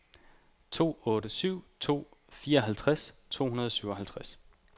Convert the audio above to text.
to otte syv to fireoghalvtreds to hundrede og syvoghalvtreds